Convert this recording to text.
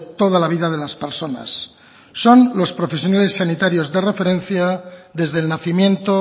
toda la vida de las personas son los profesionales sanitarios de referencia desde el nacimiento